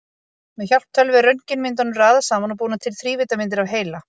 Með hjálp tölvu er röntgenmyndunum raðað saman og búnar til þrívíddarmyndir af heila.